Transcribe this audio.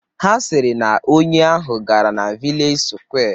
Ha sịrị na onye ahụ gara na vilej sụkwé